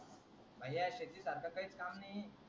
शेतीचा आमचा काहीच काम नाही